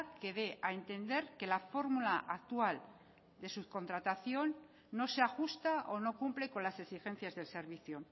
que dé a entender que la fórmula actual de subcontratación no se ajusta o no cumple con las exigencias del servicio